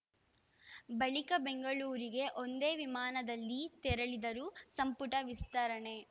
ಬಳಿಕ ಬೆಂಗಳೂರಿಗೆ ಒಂದೇ ವಿಮಾನದಲ್ಲಿ ತೆರಳಿದರು ಸಂಪುಟ ವಿಸ್ತರಣೆ